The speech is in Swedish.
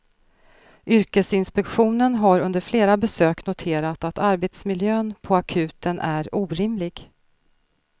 Yrkesinspektionen har under flera besök noterat att arbetsmiljön på akuten är orimlig.